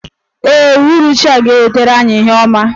Ee, uhuruchi a ga-ewetara anyị ihe ọma.